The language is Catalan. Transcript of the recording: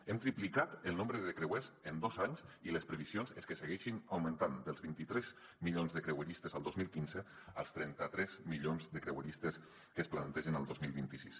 hem triplicat el nombre de creuers en dos anys i les previsions són que segueixi augmentant dels vint tres milions de creueristes el dos mil quinze als trenta tres milions de creueristes que es plantegen el dos mil vint sis